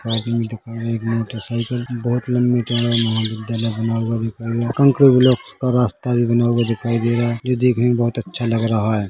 आदमी दिख रहा है एक मोटर साइकिल भी बहोत लंबी जगह मे महाविद्यालय बना हुआ दिखाई दे रहा है कान्क्रीट ब्लॉक का रास्ता भी बना हुआ दिखाई दे रहा है जो देखने मे बहोत अच्छा लग रहा है।